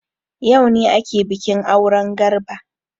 Yaune ake bikin auren Garba.